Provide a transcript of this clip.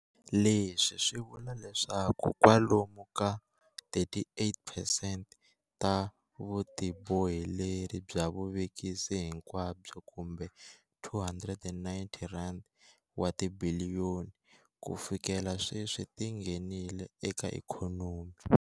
Leswi swi vula leswaku kwalomu ka 38 percent ta vutiboheleri bya vuvekisi hinkwabyo kumbe R290 wa tibiliyoni - kufikela sweswi ti nghenile eka ikhonomi.